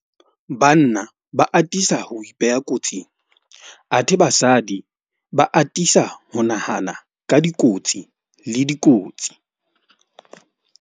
Banna ba atisa ho ipeha kotsing athe basadi ba atisa ho nahana ka dikotsi le dikotsi.